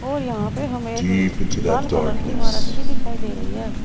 और यहां पे हमें एक लाल कलर की इमारत भी दिखाई दे रही है।